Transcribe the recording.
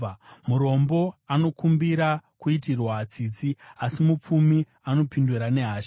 Murombo anokumbira kuitirwa tsitsi, asi mupfumi anopindura nehasha.